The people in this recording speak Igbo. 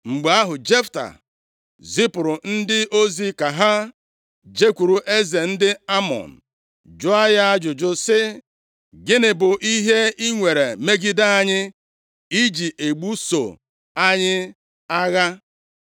Mgbe ahụ, Jefta zipụrụ ndị ozi ka ha jekwuru eze ndị Amọn jụọ ya ajụjụ sị, “Gịnị bụ ihe i nwere megide anyị i ji ebuso ala anyị agha?”